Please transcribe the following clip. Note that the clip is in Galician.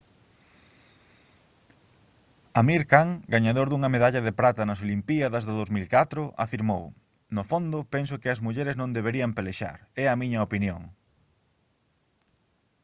amir khan gañador dunha medalla de prata nas olimpíadas do 2004 afirmou: «no fondo penso que as mulleres non deberían pelexar. é a miña opinión»